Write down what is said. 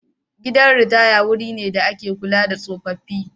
Gidan ritaya wuri ne da ake kula da tsofaffi.